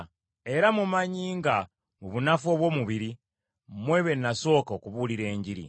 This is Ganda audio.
era mumanyi nga mu bunafu obw’omubiri, mmwe be nasooka okubuulira Enjiri.